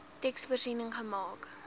teks voorsiening gemaak